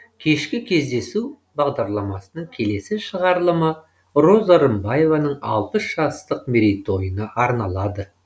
кешкі кездесу бағдарламасының келесі шығарылымы роза рымбаеваның алпыс жастық мерейтойына арналады